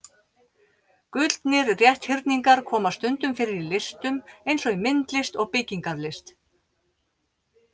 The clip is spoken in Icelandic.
Gullnir rétthyrningar koma stundum fyrir í listum eins og í myndlist og byggingarlist.